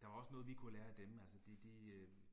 der er også noget vi kunne lære af dem altså de de